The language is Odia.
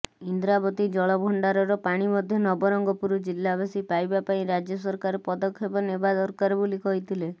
ଇନ୍ଦ୍ରାବତୀ ଜଳଭଣ୍ଡାରର ପାଣି ମଧ୍ୟ ନବରଙ୍ଗପୁର ଜିଲାବାସୀ ପାଇବା ପାଇଁ ରାଜ୍ୟସରକାର ପଦକ୍ଷେପ ନେବା ଦରକାର ବୋଲି କହିଥିଲେ